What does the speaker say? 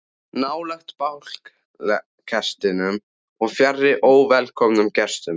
Nálægt bálkestinum og fjarri óvelkomnum gestum.